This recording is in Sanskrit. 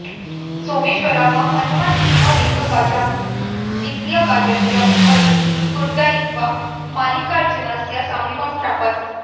सोमेश्वरः हनुमान् इव एकगजात् द्वितीयगजस्य उपरि कूर्दयित्वा मल्लिकार्जुनस्य समीपं प्रापत्